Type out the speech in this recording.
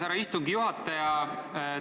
Härra istungi juhataja!